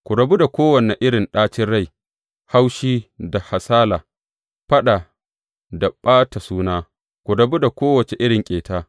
Ku rabu da kowane irin ɗacin rai, haushi da hasala, faɗa da ɓata suna, ku rabu da kowace irin ƙeta.